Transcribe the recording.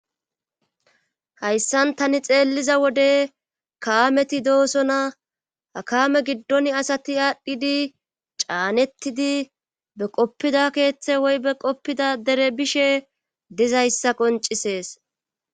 Hayssan tani xeelliza wode kaameti dooso na hakame giddon asati aadhdhidi caanettidi be qoppida keeththe woybe qoppida dere bishe dizayssa qoncisees